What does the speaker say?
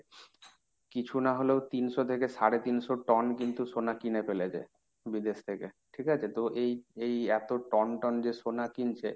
কিছু না হলেও তিনশো থেকে সাড়ে তিনশো টন কিন্তু সোনা কিনে ফেলেছে। বিদেশ থেকে ঠিক আছে? তো এই এই এত টনটন যে সোনা কিনছে,